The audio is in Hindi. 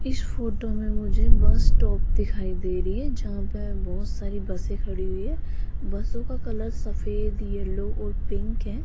इस फोटो मे मुझे बस्सटॉप दिखाई दे रही है जहां पे बहोत सारी बसे खड़ी हुई है बसों का कलर सफेद येलो और पिंक है।